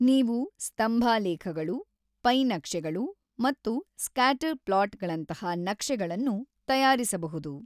ನೀವು ಸ್ತಂಭಾಲೇಖಗಳು, ಪೈ ನಕ್ಷೆಗಳು ಮತ್ತು ಸ್ಕ್ಯಾಟರ್ ಪ್ಲಾಟ್‌ಗಳಂತಹ ನಕ್ಷೆಗಳನ್ನು ತಯಾರಿಸಬಹುದು.